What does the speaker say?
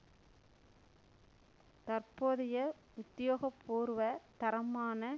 தற்போதைய உத்தியோக பூர்வ தரமான